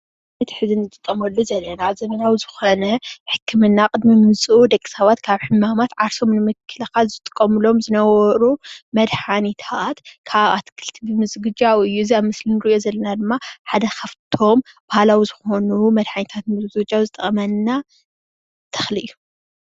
እቲ ሕዚ እንጥቀመሉ ዘለና ዘመናዊ ዝኮነ ሕክምና ቅድሚ ምምፅኡ ደቂ ሰባት ካብ ሕማማት ዓርሶም ንምክልካል ዝጥቀምሎም ዝነበሩ መድሓኒታት ካብ ኣትክልቲ ብምዝግጃው እዩ፡፡ እዚ ኣብ ምስሊ እንሪኦ ዘለና ድማ ሓደ ካብ እቶም ባህላዊ ዝኮኑ መድሓኒታት ንምዝግጃው ዝጠቅመና ተክሊ እዩ፡፡